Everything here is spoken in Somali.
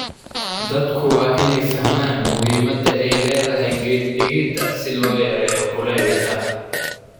Dadku waa inay fahmaan muhiimadda ay leedahay geed-dhigidda si loo yareeyo kuleylka.